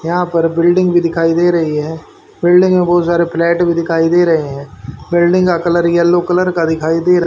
यहां पर बिल्डिंग भी दिखाई दे रही है बिल्डिंग में बहुत सारे फ्लैट भी दिखाई दे रहे हैं बिल्डिंग का कलर येलो कलर का दिखाई दे--